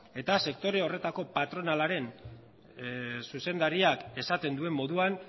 eta sektore horretako patronalaren zuzendariak esaten duen moduan